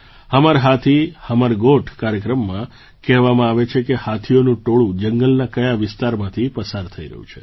હમર હાથી હમર ગોઠ કાર્યક્રમમાં કહેવામાં આવે છે કે હાથીઓનું ટોળું જંગલના કયા વિસ્તારમાંથી પસાર થઈ રહ્યું છે